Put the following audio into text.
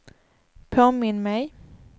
påminn mig